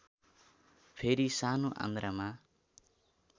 फेरि सानो आन्द्रामा